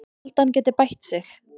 Ég held að hann geti bætt sig.